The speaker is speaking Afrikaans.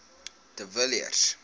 de villiers